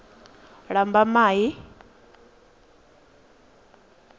lambamai